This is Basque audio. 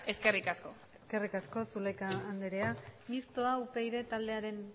eskerrik asko eskerrik asko zulaika andrea mistoa upyd taldearen